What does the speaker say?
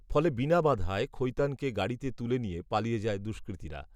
ফলে বিনা বাধায় খৈতানকে গাড়িতে তুলে নিয়ে, পালিয়ে যায় দুষ্কৃতীরা